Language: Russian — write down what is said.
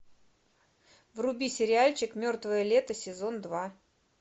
вруби сериальчик мертвое лето сезон два